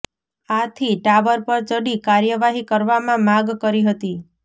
આથી ટાવર પર ચડી કાર્યવાહી કરવામાં માગ કરી હતી